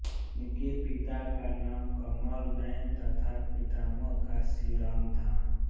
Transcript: इनके पिता का नाम कमलनैन तथा पितामह का शिवराम था